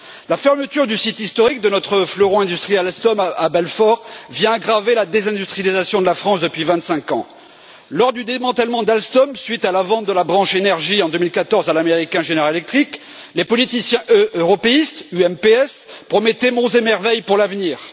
La fermeture du site historique de notre fleuron industriel Alstom à Belfort vient aggraver la désindustrialisation de la France depuis vingt cinq ans. Lors du démantèlement d'Alstom, suite à la vente de la branche énergie en 2014 à l'américain General Electric, les politiciens européistes UMPS promettaient monts et merveilles pour l'avenir.